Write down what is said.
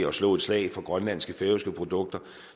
at slå et slag for grønlandske og færøske produkter